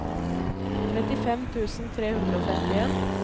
trettifem tusen tre hundre og femtien